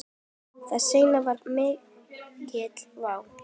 Það seinna var mikil vá.